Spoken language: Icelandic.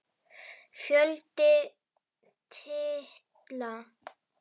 Fjöldi titla